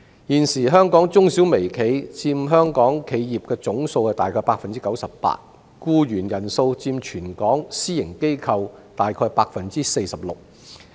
現時香港中小微企約佔香港企業總數的 98%， 僱員人數佔全港私營機構約 46%。